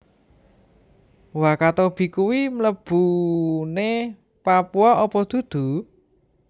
Wakatobi kui mlebune Papua opo dudu?